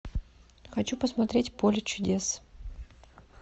хочу посмотреть поле чудес